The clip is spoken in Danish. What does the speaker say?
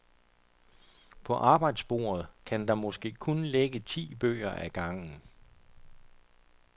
På arbejdsbordet kan der måske kun ligge ti bøger ad gangen.